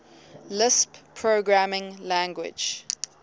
lisp programming language